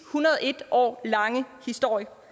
hundrede og en år lange historie for